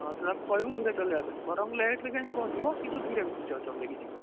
ହଁ ତୁ ତାକୁ କହିବୁ ଧୀରେ ଚଳେଇବା ପାଇଁ ବରଂ late ରେ ଯାଇକି ପହଞ୍ଚିବ କିନ୍ତୁ ଧୀରେ ଚଳେଇକି ଜୀବ